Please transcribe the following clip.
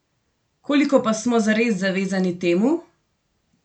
Koliko pa smo zares zavezani temu?